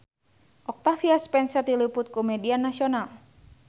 Octavia Spencer diliput ku media nasional